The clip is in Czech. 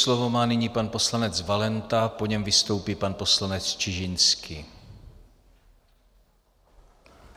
Slovo má nyní pan poslanec Valenta, po něm vystoupí pan poslanec Čižinský.